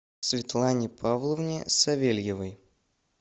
светлане павловне савельевой